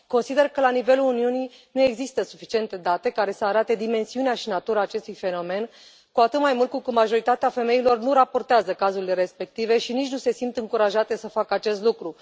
Consider că la nivelul Uniunii nu există suficiente date care să arate dimensiunea și natura acestui fenomen, cu atât mai mult cu cât majoritatea femeilor nu raportează cazurile respective și nici nu se simt încurajate să facă acest lucru.